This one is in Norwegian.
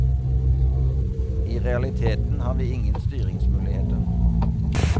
I realiteten har vi ingen styringsmuligheter.